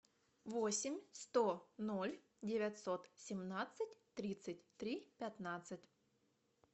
восемь сто ноль девятьсот семнадцать тридцать три пятнадцать